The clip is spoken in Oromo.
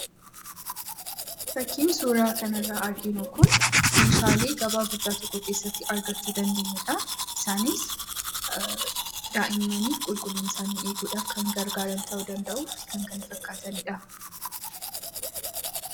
Fakkii suura kana irraa arginu kun meeshaalee gabaa guddaa tokko keessatti argachuu dandeenyudha. Isaanis daa'immaniif qulqullina isaanii eeguudhaf kan gargaaran ta'uu danda'uufi kan kana fakkaatanidha.